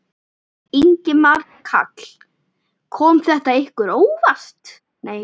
Ingimar Karl: Kom þetta ykkur á óvart?